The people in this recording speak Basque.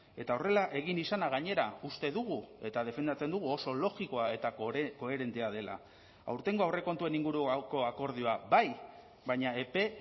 eta horrela egin izana gainera uste dugu eta defendatzen dugu oso logikoa eta koherentea dela aurtengo aurrekontuen inguruko akordioa bai baina epe